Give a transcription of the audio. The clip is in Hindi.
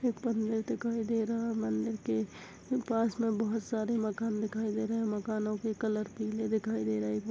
बंगले दिखाई दे रहा है मंदिर के पास मे बहोत सारे बंगले दिखाई दे रहे है मकानों के कलर पीले दिखाई दे--